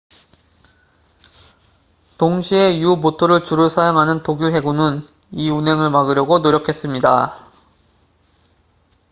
동시에 u보트를 주로 사용하는 독일 해군은 이 운행을 막으려고 노력했습니다